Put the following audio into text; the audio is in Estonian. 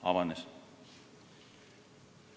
Avanes.